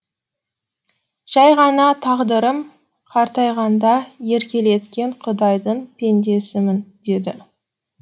жай ғана тағдырым қартайғанда еркелеткен құдайдың пендесімін деді